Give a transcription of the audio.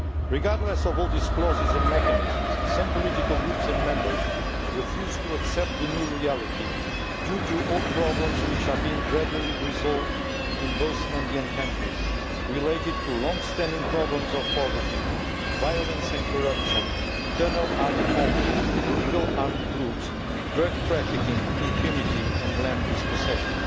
Regardless of all these clauses and mechanisms, some political groups and members refuse to accept the new reality due to old problems which are being gradually resolved in both Andean countries relating to longstanding problems of poverty, violence and corruption, internal armed conflict, illegal armed groups, drug trafficking, impunity and land dispossession.